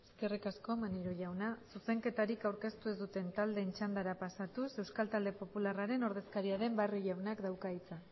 eskerrik asko maneiro jauna eskerrik asko maneiro jauna zuzenketarik aurkeztu ez duen txandara pasatuz euskal talde popularraren ordezkaria den barrio jaunak dauka hitza